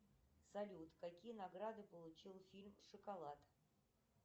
салют какие награды получил фильм шоколад